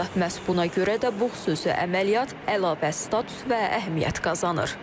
Məhz buna görə də bu xüsusi əməliyyat əlavə status və əhəmiyyət qazanır.